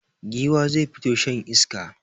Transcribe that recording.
Giwa zai fito shan iska.